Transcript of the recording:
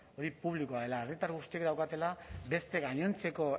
hori publikoa dela herritar guztiek daukatela beste gainontzeko